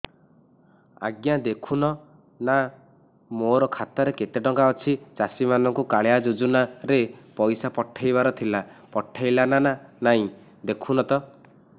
ଆଜ୍ଞା ଦେଖୁନ ନା ମୋର ଖାତାରେ କେତେ ଟଙ୍କା ଅଛି ଚାଷୀ ମାନଙ୍କୁ କାଳିଆ ଯୁଜୁନା ରେ ପଇସା ପଠେଇବାର ଥିଲା ପଠେଇଲା ନା ନାଇଁ ଦେଖୁନ ତ